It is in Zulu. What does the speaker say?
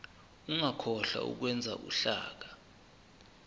ungakhohlwa ukwenza uhlaka